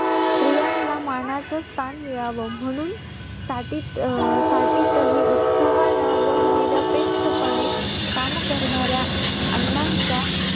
जास नार नारळ परत गोपी चे झाड आंब्याची झाड कलम हे आमच्याकडे जास्त असतात नारळी आमच्याकडे कसं नारळी भात जास्त चालतो.